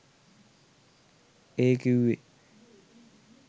ඒ කිව්වේ